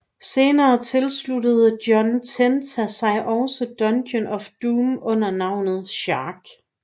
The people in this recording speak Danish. Senere tilsluttede John Tenta sig også Dungeon of Doom under navnet Shark